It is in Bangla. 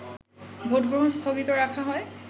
ভোটগ্রহণ স্থগিত রাখা হয়